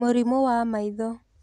Mũrimũ wa maitho.